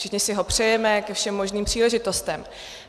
Všichni si ho přejeme ke všem možným příležitostem.